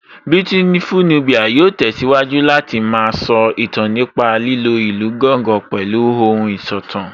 Beautiful Nubia yóò tẹ̀síwájú Láti má a sọ ìtàn nípa lílo ìlù gángan pẹ̀lú ohùn ìsọ̀tàn